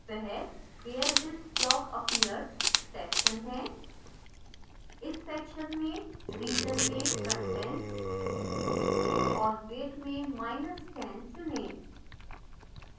वह where this block appears section है इस section में region में content और weight में10 चुनें